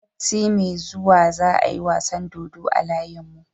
Sati me zuwa za a yi wasan dodo a layin mu